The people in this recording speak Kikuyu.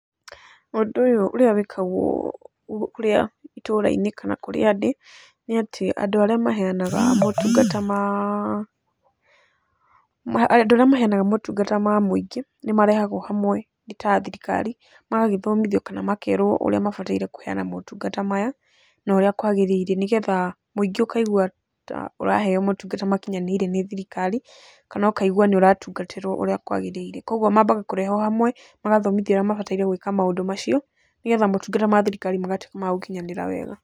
Ũndũ ũyũ ũrĩa wĩkagwo kũrĩa itũra-inĩ kana kũrĩa ndĩ nĩ atĩ andũ maheanaga motungata ma mũingĩ nĩ marehagwo hamwe nĩ ta thirikari magagĩthimithio kana makerwo ũrĩa mebataire kũheana motungata maya na ũrĩa kwagĩrĩire, nĩgetha mũĩngi ũkaigua ta ũraheyo motungata makinyanĩire nĩ thirikari kana ũkaigua nĩ ũratungatĩrwo ũrĩa kwagĩrĩire. Koguo mambaga kũrehwo hamwe magathomithio ũrĩa mabataire gũĩka maũndũ macio, nĩgetha motungata ma thirikari magatũĩka ma gũkinyanĩra wega.